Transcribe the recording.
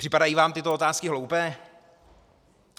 Připadají vám tyto otázky hloupé?